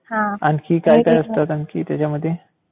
आणखी काय काय असतं आणखी त्याच्यामध्ये?